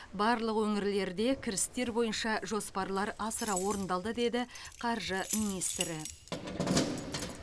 барлық өңірлерде кірістер бойынша жоспарлар асыра орындалды деді қаржы министрі